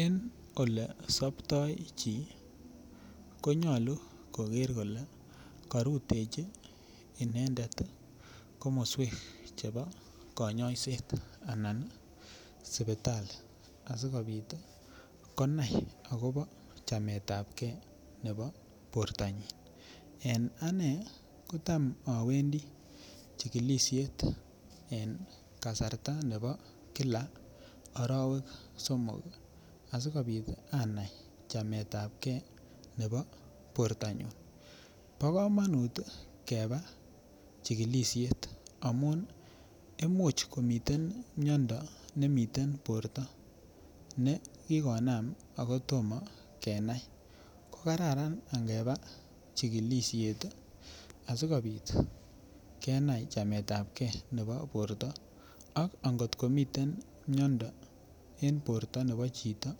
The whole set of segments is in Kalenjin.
En olesoptoi chi konyalu koger kole karutechi inendet komoswek chebo konyoiset anan sipitali asigopit konai agobo chametabke agobo bortanyin. En ane kotam awendi chigilisiet en kasarta nebo kila arawek somok asikopit anai chametab ke nebo bortanyun. Bokamanut keba chigilisiet amun imuch komiten miondo nemiten borto nekikonam agotomo kenai. Kokararan angeba chikilisiet asigopit kenai chametabke nebo borto ak ngotkomiten miondo en borto nebo chito,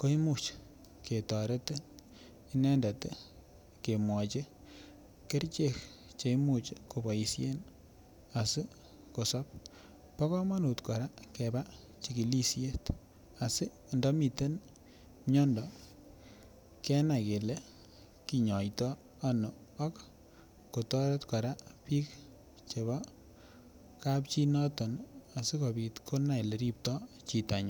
koimuch ketoret inendet kemwochi kerichek che imuch koboisien asikosop. Bo kamanut keba chikilisiet asindamiten miondo kenai kele kinyoitoi ano ak kotoret kora biik chebo kapchi inoton asikopit konai oleripto chitonyin.